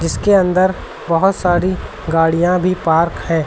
इसके अंदर बहोत सारी गाड़िया भी पार्क हैं।